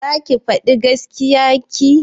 Zaki faɗi gaskiya ki?